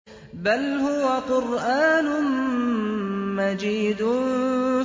بَلْ هُوَ قُرْآنٌ مَّجِيدٌ